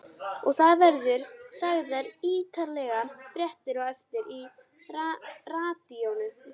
Og það verða sagðar ítarlegar fréttir á eftir í radíóinu.